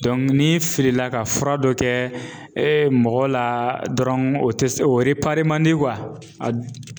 ni filila ka fura dɔ kɛ mɔgɔ la dɔrɔn o tɛ se o man di a